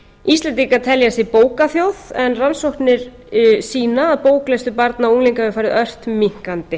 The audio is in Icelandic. íslendingar telja sig bókaþjóð en rannsóknir sýna að bóklestur barna og unglinga hefur farið ört minnkandi